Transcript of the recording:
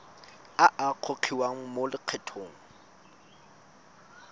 a a gogiwang mo lokgethong